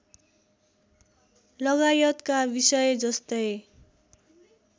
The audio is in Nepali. लगायतका विषय जस्तै